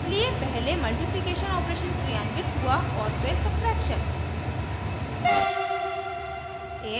इसलिए पहले multiplication operation क्रियान्वित हुआ फिर सब्ट्रैक्शन